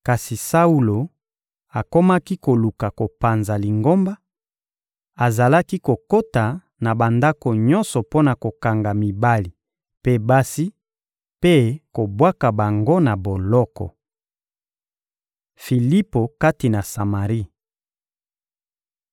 Kasi Saulo akomaki koluka kopanza Lingomba; azalaki kokota na bandako nyonso mpo na kokanga mibali mpe basi, mpe kobwaka bango na boloko. Filipo kati na Samari